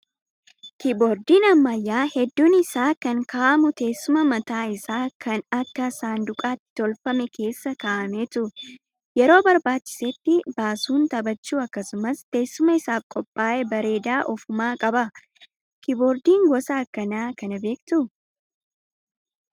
Kiiboordiin ammayyaa hedduun isaa kan kaa'amu teessuma mataa isaa kan akka saanduqaatti tolfameef keessa kaa'ameetu. Yeroo barbaachisetti baasuun taphachuu akkasumas teessuma isaaf qophaa'e bareedaa ofumaa qaba. Kiiboordii gosa akkanaa kana beektaa?